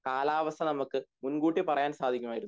കാലാവസ്ഥാനമക്ക് മുൻകൂട്ടി പറയാൻ സാധിക്കുമായിരുന്നു